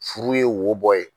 Furu ye wo bɔ ye.